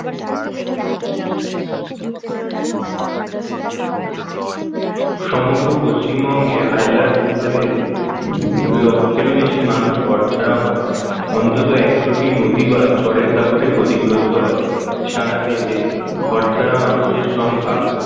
সমগ্র পশ্চিমবঙ্গে আইলার প্রভাবের লক্ষ্যেরও বেশি মানুষ কর ছাড়া হন অন্তত একশটি নদী বাঁধ ঝড়ের দাপটে ক্ষতিগ্রস্ত হয় সারা দেশে ঘরছাড়া মানুষের সংখ্যা